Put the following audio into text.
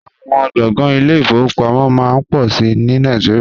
Àwọn gbọ̀ngàn ile-ìfowópamọ́ máa ń pọ̀ sí i ní Nàìjíríà